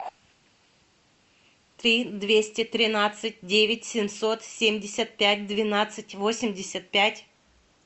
три двести тринадцать девять семьсот семьдесят пять двенадцать восемьдесят пять